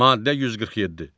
Maddə 147.